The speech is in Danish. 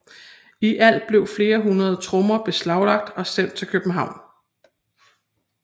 I alt blev flere hundrede trommer beslaglagt og sendt til København